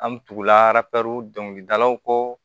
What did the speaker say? An bɛ tugulapɛri dɔnkilidalaw kɔ